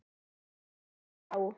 Vinur þinn, já?